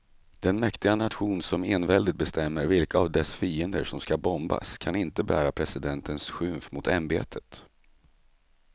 Den mäktiga nation som enväldigt bestämmer vilka av dess fiender som ska bombas kan inte bära presidentens skymf mot ämbetet.